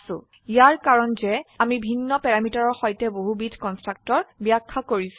ইয়াৰ কাৰন যে আমি ভিন্ন প্যাৰামিটাৰৰ সৈতে বহুবিধ কন্সট্ৰাকটৰ ব্যাখ্যা কৰিছো